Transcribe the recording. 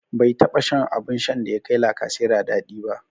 Bai taɓa shan abun shan da ya kai lacasera dadi ba.